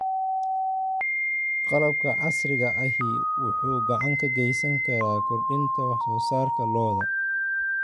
Qalabka casriga ahi wuxuu gacan ka geysan karaa kordhinta wax soo saarka lo'da.